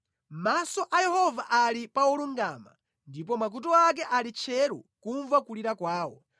Maso a Yehova ali pa olungama ndipo makutu ake ali tcheru kumva kulira kwawo;